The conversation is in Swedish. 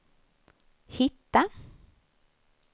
hitta